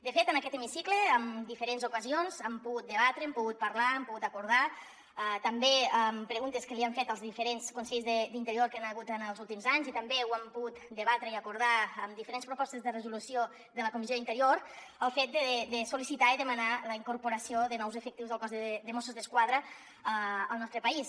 de fet en aquest hemicicle en diferents ocasions hem pogut debatre hem pogut parlar hem pogut acordar també amb preguntes que li han fet als diferents consellers d’interior que hi ha hagut en els últims anys i també ho han pogut debatre i acordar amb diferents propostes de resolució de la comissió d’interior el fet de sol·li citar i demanar la incorporació de nous efectius del cos de mossos d’esquadra al nostre país